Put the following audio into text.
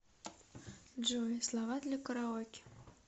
джой слова для караоке